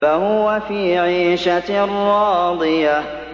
فَهُوَ فِي عِيشَةٍ رَّاضِيَةٍ